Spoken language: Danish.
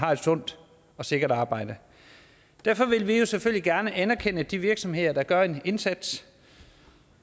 har et sundt og sikkert arbejde derfor vil vi jo selvfølgelig gerne anerkender de virksomheder der gør en indsats